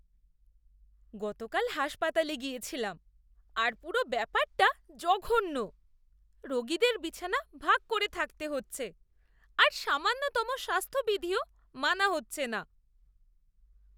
গতকাল হাসপাতালে গিয়েছিলাম, আর পুরো ব্যাপারটা জঘন্য। রোগীদের বিছানা ভাগ করে থাকতে হচ্ছে আর সামান্যতম স্বাস্থ্যবিধিও মানা হচ্ছেনা।